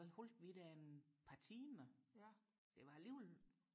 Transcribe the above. hvad holdte vi der et par timer det var alligevel